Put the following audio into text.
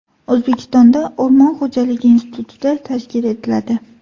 O‘zbekistonda O‘rmon xo‘jaligi instituti tashkil etiladi.